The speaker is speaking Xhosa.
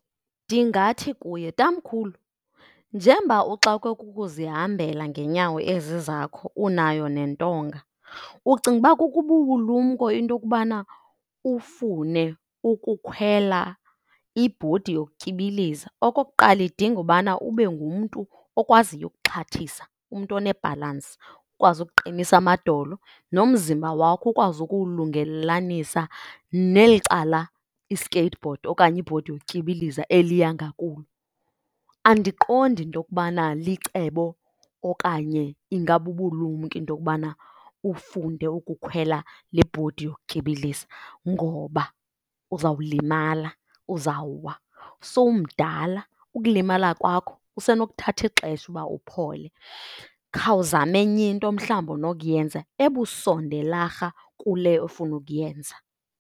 Ndingathi kuye, tamkhulu, njengoba uxakwe kukuzihambela ngeenyawo ezi zakho unayo nentonga, ucinga uba kukububulumko into yokubana ufune ukukhwela ibhodi yokutyibiliza? Okokuqala, idinga ubana ube ngumntu okwaziyo ukuxhathisa, umntu onebhalansi. Ukwazi ukuqinisa amadolo nomzimba wakho ukwazi ukuwulungelelanisa neli cala i-skateboard okanye ibhodi yokutyibiliza eliya ngakulo. Andiqondi into yokubana licebo okanye ingabubulumko into yokubana ufunde ukukhwela le ibhodi yokutyibiliza ngoba uzawulimala, uzawuwa. Sowumdala, ukulimala kwakho kusenokuthatha xesha uba uphole. Khawuzame enye into mhlawumbi onokuyenza ebusondelarha kule ofuna ukuyenza.